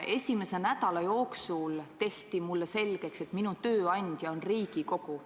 Esimese nädala jooksul tehti mulle selgeks, et minu tööandja on Riigikogu.